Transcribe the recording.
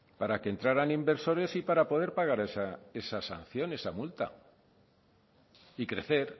para que entraran inversores y para poder pagar esa sanción esa multa y crecer